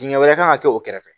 Dingɛ wɛrɛ kan ka kɛ o kɛrɛfɛ